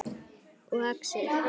Og Axel.